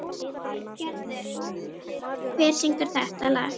Gerður, hver syngur þetta lag?